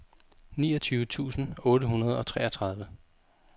niogtyve tusind otte hundrede og treogtredive